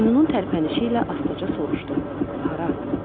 Boynunun tərpənişi ilə astaca soruşdu: Hara?